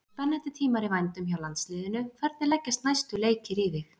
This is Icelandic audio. Það eru spennandi tímar í vændum hjá landsliðinu, hvernig leggjast næstu leikir í þig?